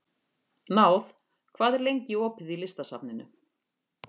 Náð, hvað er lengi opið í Listasafninu?